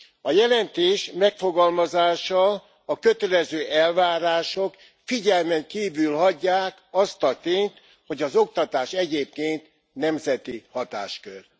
A jelentés megfogalmazása, a kötelező elvárások figyelmen kívül hagyják azt a tényt, hogy az oktatás egyébként nemzeti hatáskör.